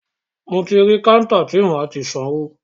Mo ti rí kántà ti máa ti sanwó.